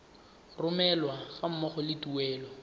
romelwa ga mmogo le tuelo